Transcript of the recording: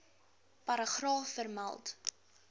paragraaf vermeld